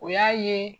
O y'a ye